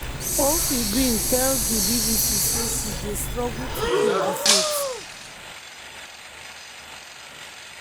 orfi bin tell di bbc say she dey“struggle to keep di faith”.